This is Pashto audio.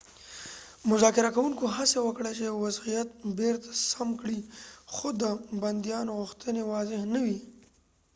مذاکره کوونکو هڅه وکړه چې وضعیت بیرته سم کړي خو د بندیانو غوښتنې واضح نه وې